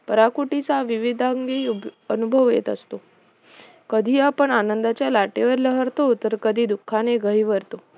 पराकोटीचा विविधांगी अनुभव येत असतो कधी आपण आनंदाच्या लाटेवर लहरतो तर कधी दुखाने गहिवरतो